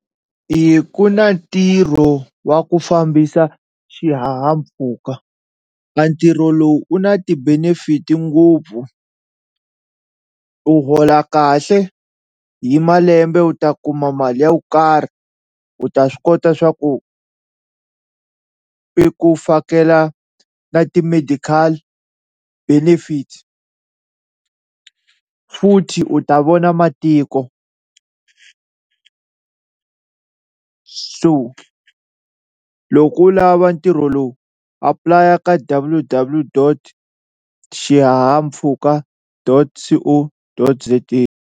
I ku na ntirho wa ku fambisa xihahampfhuka a ntirho lowu u na ti-benefit ngopfu u hola kahle hi malembe u ta kuma mali yo karhi u ta swi kota swa ku i ku fakela na ti-medical benefit futhi u ta vona matiko, so loko u lava ntirho lowu apulaya ka W W dot xihahampfhuka dot C O dot Z A.